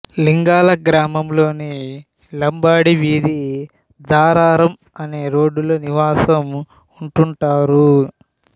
లింగాల గ్రామములోని లంబాడీ వీధి ధారారం అనే రోడ్డులో నివాసం ఉంటుంటారు